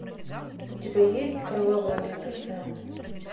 у тебя есть кровавое лето сэма